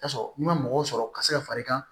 I bi taa sɔrɔ n'i ma mɔgɔw sɔrɔ ka se ka far'i kan